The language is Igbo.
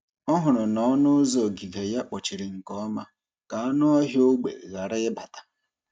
Ọ hụrụ na ọnụ ụzọ ogige ya kpochiri nke ọma ka anụ ọhịa ógbè ghara ịbata.